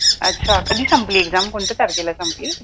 अच्छा कधी संपली exam कोणत्या तारखेला संपली?